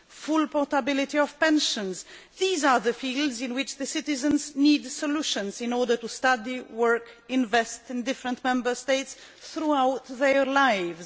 full portability of pensions these are the fields in which citizens need solutions in order to study, work and invest in different Member States throughout their lives.